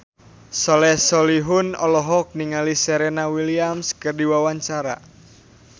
Soleh Solihun olohok ningali Serena Williams keur diwawancara